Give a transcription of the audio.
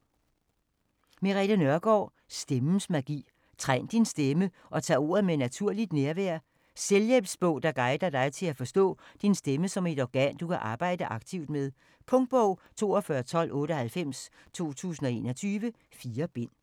Nørgaard, Merete: Stemmens magi: træn din stemme og tag ordet med naturligt nærvær Selvhjælpsbog, der guider dig til at forstå din stemme som et organ, du kan arbejde aktivt med. Punktbog 421298 2021. 4 bind.